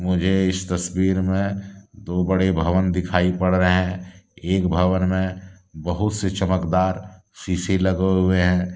मुझे इस तस्वीर में दो बड़े भवन दिखाई पड़ रहे हैं एक भवन में बहुत से चमकदार शीशे लगे हुए हैं।